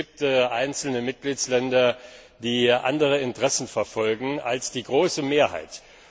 Es gibt einzelne Mitgliedstaaten, die andere Interessen verfolgen als die große Mehrheit.